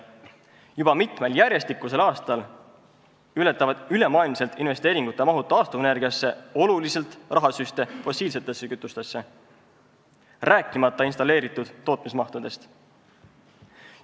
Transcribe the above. Juba mitmel järjestikusel aastal ületavad ülemaailmsed investeeringumahud taastuvenergiasse oluliselt rahasüste fossiilsetesse kütustesse, rääkimata installeeritud tootmismahtudest.